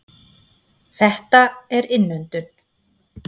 Þetta er innöndun.